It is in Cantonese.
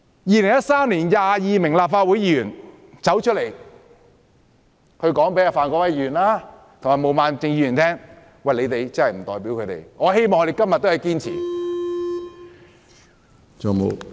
2013年有22名立法會議員站出來告訴范國威議員及毛孟靜議員，表明他們二人不代表他們，我希望他們今天仍然堅持這個立場。